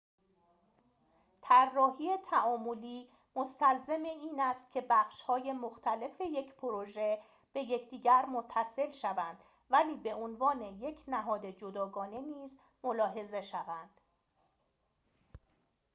طراحی تعاملی مستلزم این است که بخش‌های مختلف یک پروژه به یکدیگر متصل شوند ولی به عنوان یک نهاد جداگانه نیز ملاحظه شوند